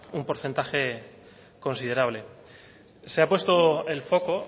un porcentaje considerable se ha puesto el foco